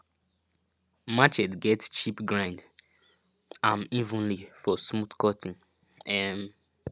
machete get chip grind am evenly for smooth cutting um